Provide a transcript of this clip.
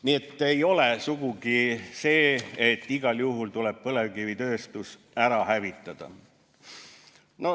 Nii et ei ole sugugi nii, et igal juhul tuleb põlevkivitööstus ära hävitada.